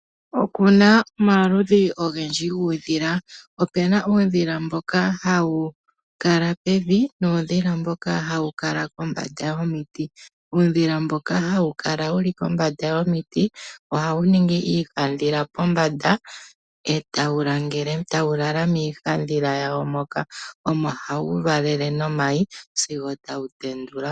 Okuna omaludhi ogendji guudhila. Opena uudhila mboka hawu kala pevi nuudhila mboka hawu kala kombanda yomiti. Uudhila mboka hawu kala wuli kombanda yomiti ohawu ningi iihandhila pombanda etawu lala miihandhila yawo moka. Omo hawu valele nomayi sigo tawu tendula.